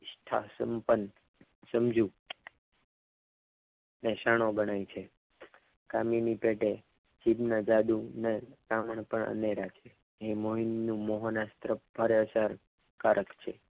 સ્થા સંપન્ન સમજ ને શાણો બને છે કામિની પેઢે છેદના જાદુને ને મોહિની મોહન અસ્ત્ર અસરકારક છે.